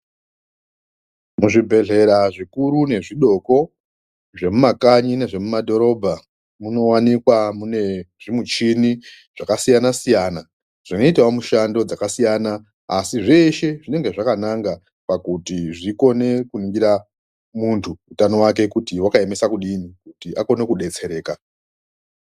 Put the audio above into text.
Muzvibhedhlera zvikuru nezvidoko zvemumakanyi nezvemumadhorobha munowanikwa mune zvimichini zvakasiyana siyana zvinoitawo mushando dzakasiyana asi zveshe zvinenge zvakananga pakuti zvikone kuningira muntu utano hwake kuti hwakaemesa kudini kuti akome kudetsereka.